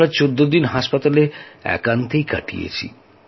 আমরা চৌদ্দ দিন হাসপাতালে একান্তেই কাটিয়েছি